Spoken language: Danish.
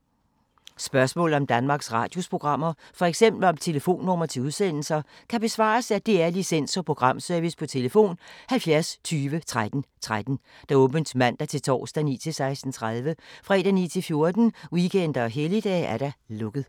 Spørgsmål om Danmarks Radios programmer, f.eks. om telefonnumre til udsendelser, kan besvares af DR Licens- og Programservice: tlf. 70 20 13 13, åbent mandag-torsdag 9.00-16.30, fredag 9.00-14.00, weekender og helligdage: lukket.